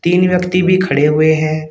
तीन व्यक्ति भी खड़े हुए हैं।